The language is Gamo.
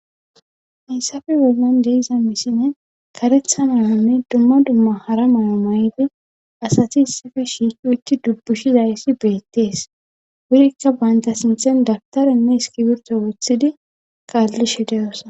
Hayysafe wolman deiza misine karetha mahame dumma dumma hara may7o may7idi asati issife shiiki utti dubbushi zayssi beettees wurikka baynta sinthen dabtarenne eskibirto woththidi kaallishe deyosa